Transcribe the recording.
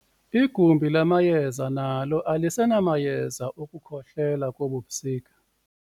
Igumbi lamayeza nalo alisenamayeza okukhohlela kobu busika.